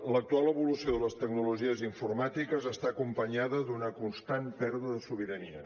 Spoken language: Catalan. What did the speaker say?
l’actual evolució de les tecnologies informàtiques està acompanyada d’una constant pèrdua de sobirania